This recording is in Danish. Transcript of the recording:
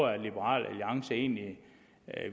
at liberal alliance egentlig